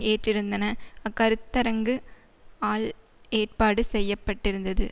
ஏற்றிருந்தன அக்கருத்தரங்கு ஆல் ஏற்பாடு செய்ய பட்டிருந்தது